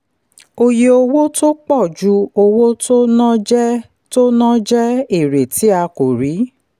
oye owó tó pọ̀ ju owó tó ná jẹ́ tó ná jẹ́ èrè tí a kò rí.